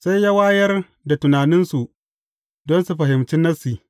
Sai ya wayar da tunaninsu don su fahimci Nassi.